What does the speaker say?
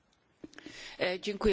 Panie Przewodniczący!